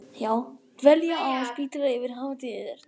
Dvelja á spítala yfir hátíðirnar